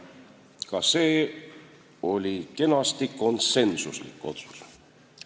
Ka see oli kenasti konsensuslik otsus.